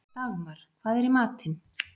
Dagmar, hvað er í matinn?